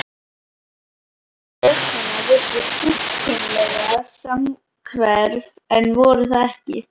Andlit stelpnanna virtust fullkomlega samhverf en voru það ekki.